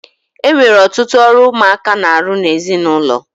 E nwere ọtụtụ ọrụ ụmụaka na-arụ n'ezinụlọ.